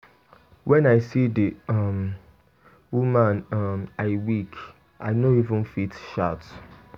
When I see the[um] woman um I weak. I no even fit shout.